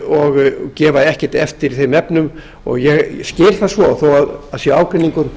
og gefa ekkert eftir í þeim efnum ég skil það svo þó að það sé ágreiningur